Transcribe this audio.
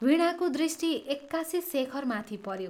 वीणाको दृष्टि एक्कासि शेखरमाथि पऱ्यो ।